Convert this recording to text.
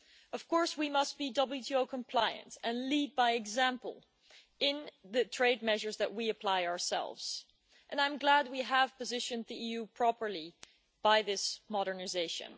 Of course, we must be WTO compliant and lead by example in the trade measures that we apply ourselves, and I'm glad we have positioned the EU properly by this modernisation.